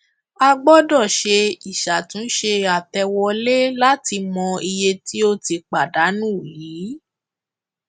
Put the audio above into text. a gbọdọ ṣe ìṣàtúnṣe àtẹwolé láti mọ iye tí ó ti pàdánù yíì